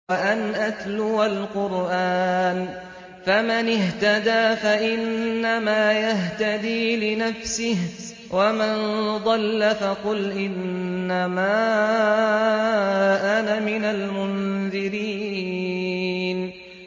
وَأَنْ أَتْلُوَ الْقُرْآنَ ۖ فَمَنِ اهْتَدَىٰ فَإِنَّمَا يَهْتَدِي لِنَفْسِهِ ۖ وَمَن ضَلَّ فَقُلْ إِنَّمَا أَنَا مِنَ الْمُنذِرِينَ